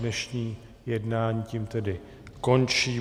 Dnešní jednání tím tedy končí.